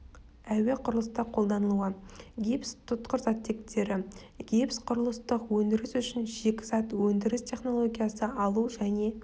әуе құрылыста қолданылуы гипс тұтқыр заттектері гипс құрылыстық өндіріс үшін шикізат өндіріс технологиясы алу және